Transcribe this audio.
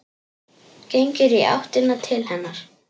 Gengur í áttina til hennar.